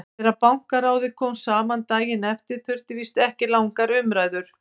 Þegar Bankaráðið kom saman daginn eftir þurfti víst ekki langar umræður.